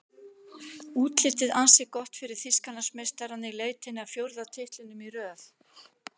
Útlitið ansi gott fyrir Þýskalandsmeistarana í leitinni að fjórða titlinum í röð.